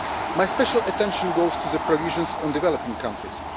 My special attention goes to the provisions on developing countries.